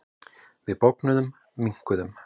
Við bognuðum, minnkuðum.